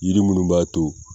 Yiri munnu b'a to.